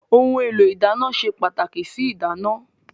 Ohun èlò ìdáná se pàtàkì sí ìdáná.